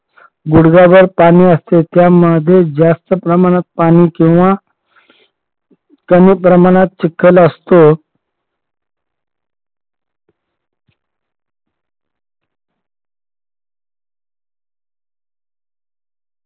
गुडघाभर पाणी असते त्यामध्ये जास्त प्रमाणात पाणी किंवा कमी प्रमाणात चिखल असतो.